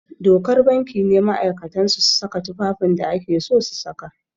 Dokar banki ne ma'aikatan su su saka tufafin da ake so su saka